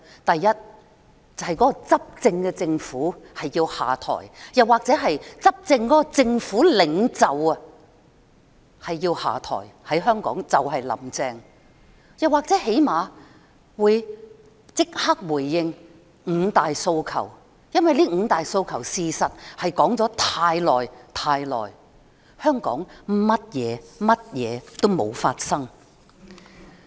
第一，執政政府或其領袖下台，就香港而言就是"林鄭"下台，又或是至少立即回應五大訴求，因為這五大訴求的確說了太久，香港甚麼也沒有發生。